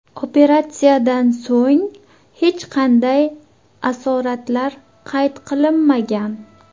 Operatsiyadan so‘ng hech qanday asoratlar qayd qilinmagan.